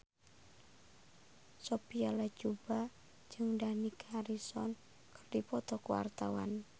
Sophia Latjuba jeung Dani Harrison keur dipoto ku wartawan